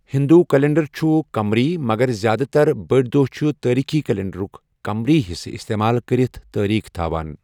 ہِندو calendar چھُ قمری مگر زِیٛادٕ تر بٔڑۍ دۄہ چھِ تٲریٖخی کیلنڈرُک قمری حصہٕ اِستعمال کٔرِتھ تٲریٖخ تھاوان۔